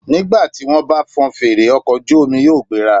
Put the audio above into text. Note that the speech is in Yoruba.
Nígbà tí wọ́n bá fọn fèrè, ọkọ̀ ojú omi yóò gbéra.